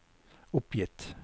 oppgitt